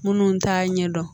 Minnu t'a ɲɛdɔn